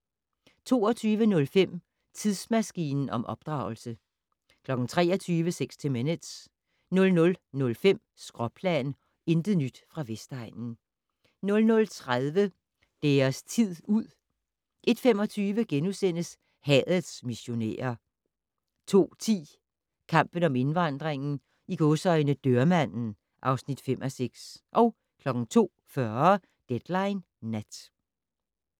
22:05: Tidsmaskinen om opdragelse 23:00: 60 Minutes 00:05: Skråplan - intet nyt fra Vestegnen 00:30: Deres tid ud 01:25: Hadets missionærer * 02:10: Kampen om indvandringen - "Dørmanden" (5:6) 02:40: Deadline Nat